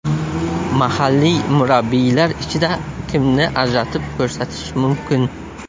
Mahalliy murabbiylar ichida kimni ajratib ko‘rsatish mumkin?